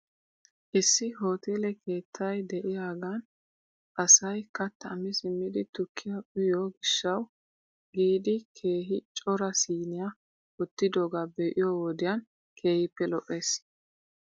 Issi hoteele keettay de'iyaagan asay kattaa mi simjidi tukkiyaa uyiyoo gishshaw giidi keehi cora siiniyaa wottidoogaa be'iyoo wodiyan keehippe lo'ees.